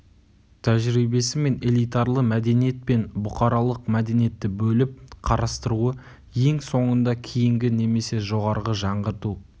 тәжірибесі мен элитарлы мәдениет пен бұқаралық мәдениетті бөліп қарастыруы ең соңында кейінгі немесе жоғарғы жаңғырту